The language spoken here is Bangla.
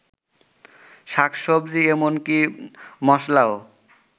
শাকসবজি এমনকি মসলাও